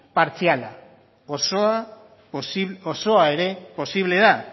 partziala osoa ere posible da